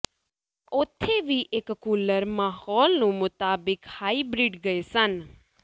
ਉੱਥੇ ਵੀ ਇੱਕ ਕੂਲਰ ਮਾਹੌਲ ਨੂੰ ਮੁਤਾਬਿਕ ਹਾਈਬ੍ਰਿਡ ਗਏ ਸਨ